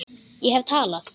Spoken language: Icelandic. Ég hef talað.